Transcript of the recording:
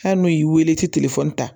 Hali n'u y'i wele i ti ta